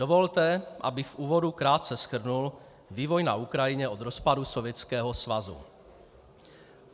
Dovolte, abych v úvodu krátce shrnul vývoj na Ukrajině od rozpadu Sovětského svazu.